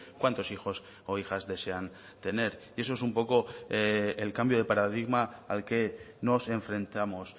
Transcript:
cuántos hijos o hijas desean tener eso es un poco el cambio de paradigma al que nos enfrentamos